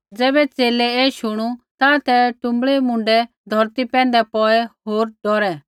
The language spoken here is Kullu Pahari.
ज़ैबै च़ेले ऐ शुणू ता ते टुँबड़ै मुण्डै धौरती पैंधै पौड़ै होर डौरै